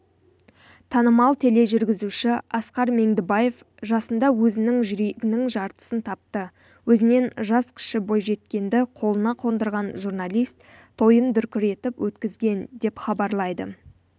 танымал тележүргізуші асқар меңдібаев жасында өзінің жүрегінің жартысын тапты өзінен жас кіші бойжеткенді қолына қондырған журналист тойын дүркіретіп өткізген деп хабарлайды